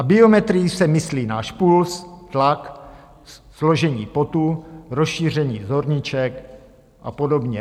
A biometrií se myslí náš puls, tlak, složení potu, rozšíření zorniček a podobně.